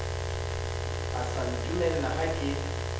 e sa ntumella ha ke